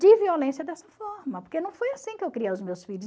De violência dessa forma, porque não foi assim que eu criei os meus filhos.